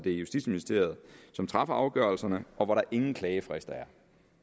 er justitsministeriet som træffer afgørelserne og hvor der ingen klagefrister er